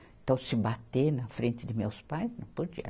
Então se bater na frente de meus pais, não podia.